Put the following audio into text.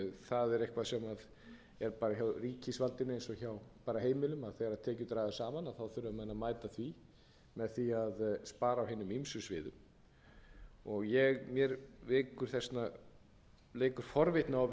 það er eitthvað sem er hjá ríkisvaldinu eins og hjá heimilum að þegar tekjur dragast saman þurfa menn að mæta því með því að spara á hinum ýmsum sviðum mér leikur forvitni á að